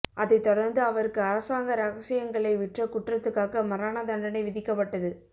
அதைத் தொடர்ந்து அவருக்கு அரசாங்க ரகசியங்களை விற்ற குற்றத்துக்காக மரண தண்டனை விதிக்கப்பட்டது